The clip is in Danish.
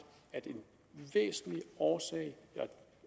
at en væsentlig årsag